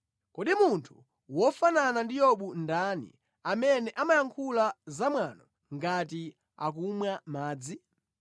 Kodi munthu wofanana ndi Yobu ndani, amene amayankhula zamwano ngati akumwa madzi?